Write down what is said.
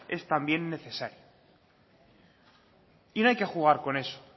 es también necesaria y no hay que jugar con eso